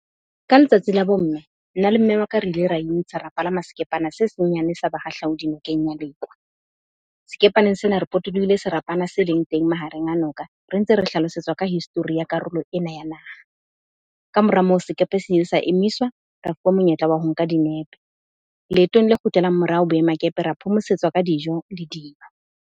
Ka letsatsi la bomme nna le mme wa ka, re ile ra intsha ra palama sekepana se senyane sa bahahlaodi nokeng ya Lekwa. Sekepaneng sena re potolohile serapana se leng teng mahareng a noka. Re ntse re hlalosetswa ka history ya karolo ena ya naha. Kamora moo sekepe se ile sa emiswa ra fuwa monyetla wa ho nka dinepe, leetong le kgutlelang morao boemakepe ra phomosetswa ka dijo .